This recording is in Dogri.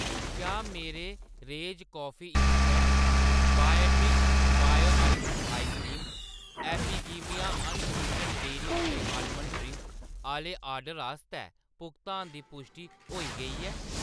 क्या मेरे Rage Coffee instant, Biotique bio almond eye cream, Epigamia unsweetened dairy free almond drink आह्‌‌‌ले ऑर्डर आस्तै भुगतान दी पुश्टि होई गेई ऐ ?